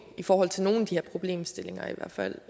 i forhold til nogle af de her problemstillinger i hvert fald